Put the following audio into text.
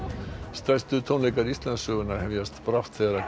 stærstu tónleikar Íslandssögunnar hefjast brátt þegar